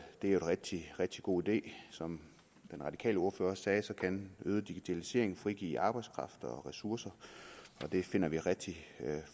en rigtig rigtig god idé som den radikale ordfører sagde kan øget digitalisering frigive arbejdskraft og ressourcer og det finder vi rigtig